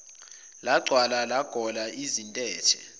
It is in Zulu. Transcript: lwagcwala lwagola izintethe